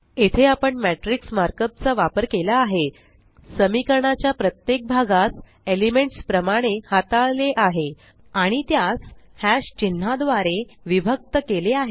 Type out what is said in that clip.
येथे आपण matrix markup चा वापर केला आहे समीकरणाच्या प्रत्येक भागास एलिमेंट्स प्रमाणे हाताळले आहे आणि त्यास चिन्हा द्वारे विभक्त केले आहे